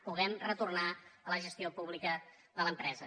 puguem retornar a la gestió pública de l’empresa